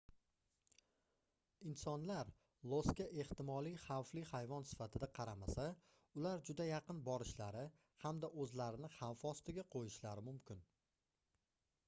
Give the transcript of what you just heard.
insonlar losga ehtimoliy xavfli hayvon sifatida qaramasa ular juda yaqin borishlari hamda oʻzlarini xavf ostiga qoʻyishlari mumkin